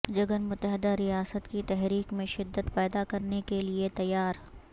جگن متحدہ ریاست کی تحریک میں شدت پیدا کرنے کیلئے تیار